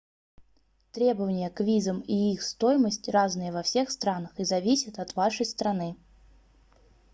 требования к визам и их стоимость разные во всех странах и зависят от вашей страны